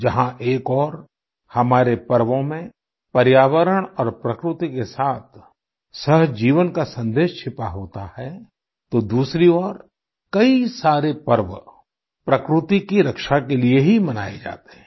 जहां एक ओर हमारे पर्वों में पर्यावरण और प्रकृति के साथ सहजीवन का सन्देश छिपा होता है तो दूसरी ओर कई सारे पर्व प्रकृति की रक्षा के लिये ही मनाए जाते हैं